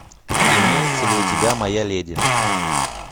имеется ли у тебя моя леди